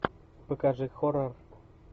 покажи хоррор